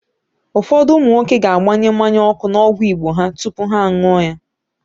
Ụfọdụ ụmụ nwoke ga-agbanye mmanya ọkụ n'ọgwụ Igbo ha tupu ha an̄ụọ ya.